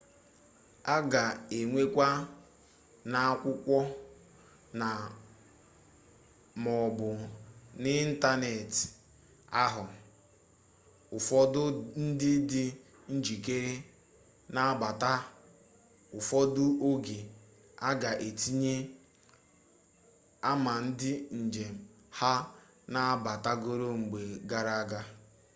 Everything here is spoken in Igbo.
a ga-enyekwa n'akwụkwọ na/maọbụ n'ịntanetị aha ụfọdụ ndị dị njikere ịnabata; ụfọdụ oge a ga-etinye ama ndị njem ha nabatagoro mgbe gara aga